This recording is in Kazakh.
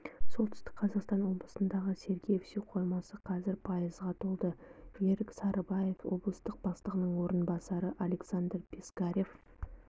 солтүстік қазақстан облысындағы сергеев су қоймасы қазір пайызға толды ерік сарыбаев облыстық бастығының орынбасары александр пискарев